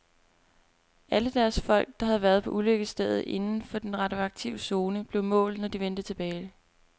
Alle deres folk, der havde været på ulykkesstedet inden for den radioaktive zone, blev målt, når de vendte tilbage.